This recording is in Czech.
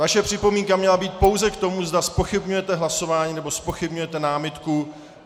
Vaše připomínka měla být pouze k tomu, zda zpochybňujete hlasování nebo zpochybňujete námitku.